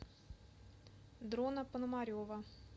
дрона пономарева